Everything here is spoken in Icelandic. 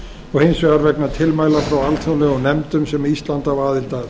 og hins vegar vegna tilmæla frá alþjóðlegum nefndum sem ísland á aðild að